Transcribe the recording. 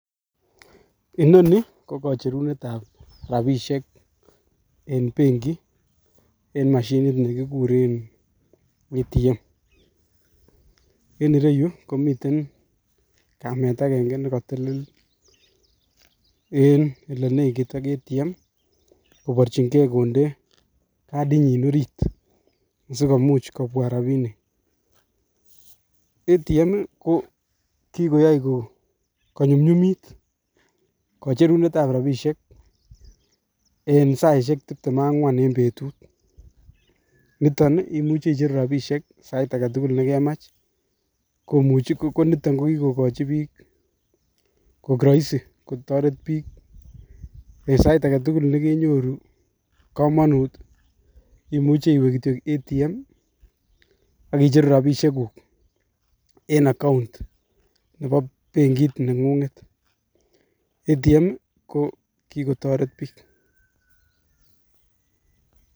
Inoni ko kocherunetab rabishek en benki en mashinit nekikuren ATM, en ireyu komiten kamet akeng'e nekotelel en elenekit ak ATM koborchin kee konde kasinyin oriit sikomuch kobwa rabinik, ATM ko kikoyai konyumnyumit kocherunetab rabishek en saishek tibtem ak ang'wan en betut, niton imuche icheru rabishek sait aketukul nekemach komuch ko niton kokikokochi biik koik roisi kotoret biik en sait aketukul nekenyoru komonut imuche iwee kitiok ATM ak icheru rabishekuk en account nebo benkit neng'ung'et, ATM ko kikotoret biik.